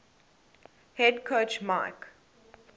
head coach mike